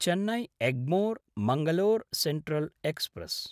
Chennai एग्मोर्–मङ्गलोर central express